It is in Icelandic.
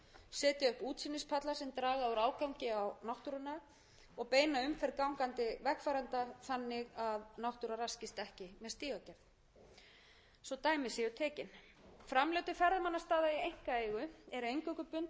sem draga úr ágangi á náttúruna og beina umferð gangandi vegfarenda þannig að náttúra ekki með stígagerð svo dæmi séu tekin framlög til ferðamannastaða í einkaeigu eru eingöngu bundin við verkefni er varða öryggi ferðamanna og eða náttúru þannig eru